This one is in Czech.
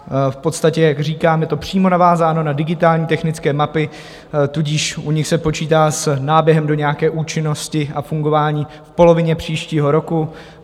V podstatě, jak říkám, je to přímo navázáno na digitální technické mapy, tudíž u nich se počítá s náběhem do nějaké účinnosti a fungování v polovině příštího roku.